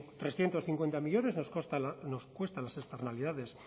trescientos cincuenta millónes nos cuesta las externalidades